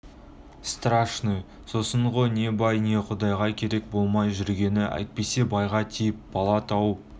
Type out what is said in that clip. страшный сосын ғо не бай не құдайға керек болмай жүргені әйтпесе байға тиіп бала тауып